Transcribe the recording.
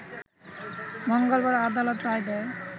মঙ্গলবার আদালত রায় দেয়